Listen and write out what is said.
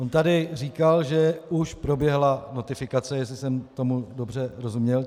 On tady říkal, že už proběhla notifikace, jestli jsem tomu dobře rozuměl.